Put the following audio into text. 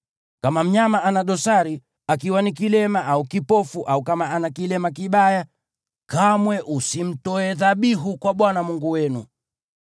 Kama mnyama ana dosari, akiwa ni kilema au kipofu au kama ana kilema kibaya, kamwe usimtoe dhabihu kwa Bwana Mungu wenu.